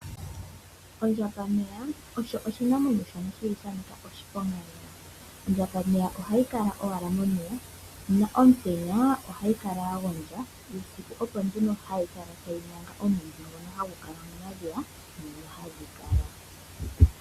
Ondjambameya osho oshinamwenyo shoka shili shanika oshiponga lela. Ondjambameya ohayi kala owala momeya na omutenya ohayi kala yagondja, uusiku opo nduno hayi kala tayi nyanga omwidhi ngoka hagu kala momadhiya moka hadhi kala.